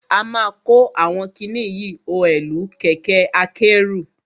A ma kó àwọn kiní yìí oẹ̀lú kẹ̀kẹ́ akẹ́rù.